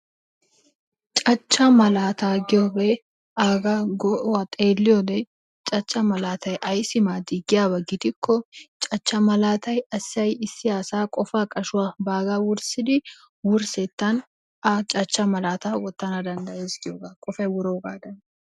Cachaa malata giyogee aga malata xeliyode, cacha malatay aysi madi giyaba gidiko cacha malatay, issi asay baga qofa qashuwa wursetani haga cachaa malata wotana dandayes giyoga qofay wurogadani.